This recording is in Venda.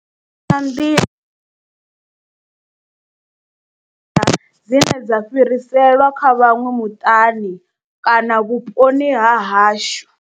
Ndi nga nḓila dzine dza fhiriselwa kha vhaṅwe muṱani kana vhuponi ha hashu.